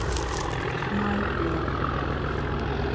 Snæbjörn